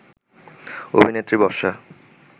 অভিনেত্রী বর্ষা